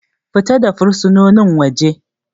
Fita da fursunonin waje.